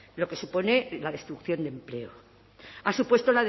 lo que supone la destrucción de empleo ha supuesto